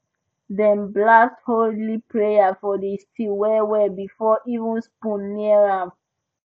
dem blast holy prayer for di stew wellwell before even spoon near am